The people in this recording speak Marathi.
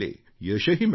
यशही मिळाले